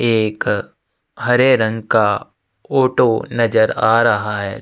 एक हरे रंग का ऑटो नजर आ रहा हैं।